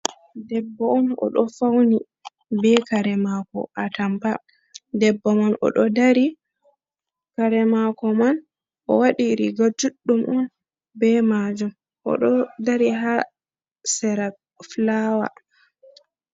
Debbo on o ɗo fauni be kare mako a tampa, debbo man o do dari kare mako man o waɗi riga juɗɗum on be majum o do dari ha sera fulawa.